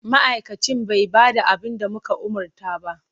Ma'aikacin bai ba da abin da muka umarta ba.